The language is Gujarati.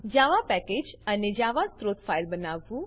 જાવા પેકેજ અને જાવા સ્ત્રોત ફાઈલ બનાવવું